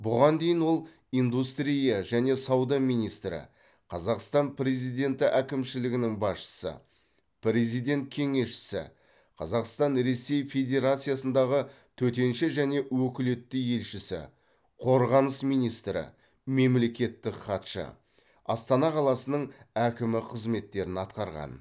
бұған дейін ол индустрия және сауда министрі қазақстан президенті әкімшілігінің басшысы президент кеңесшісі қазақстан ресей федерациясындағы төтенше және өкілетті елшісі қорғаныс министрі мемлекеттік хатшы астана қаласының әкімі қызметтерін атқарған